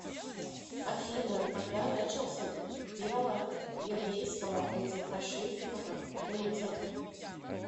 афина когда начался дело еврейского антифашистского комитета